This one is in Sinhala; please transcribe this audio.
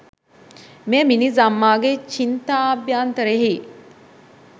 මෙය මිනිස් අම්මාගේ චිත්තාභ්‍යන්තරයෙහි